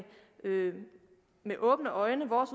med åbne øjne vores